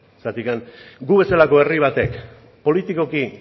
zergatik gu bezalako herri batek politikoki